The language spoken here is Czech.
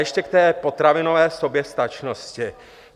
Ještě k té potravinové soběstačnosti.